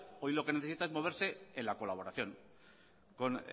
hoy lo que necesita es moverse en la colaboración con